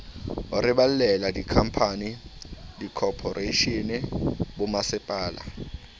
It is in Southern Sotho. re balella dikhamphani dikhophoreishene bommasepala